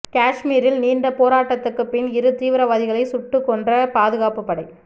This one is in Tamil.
காஷ்மீரில் நீண்ட போராட்டத்துக்கு பின் இரு தீவிரவாதிகளை சுட்டுக் கொன்ற பாதுகாப்பு படை